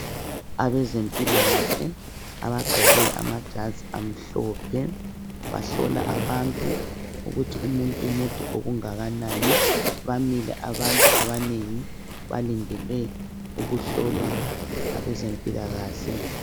Abezempilakahle abagqoke amajazi amhlophe bahlola abantu ukuthi umuntu mude okungakanani bamile abantu abanengi balindele ukuhlolwa ngabezempilakahle.